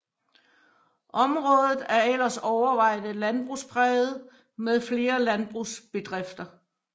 Området er ellers overvejende landbrugspræget med flere landbrugsbedrifter